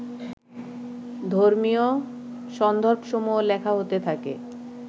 ধর্মীয় সন্দর্ভসমূহ লেখা হতে থাকে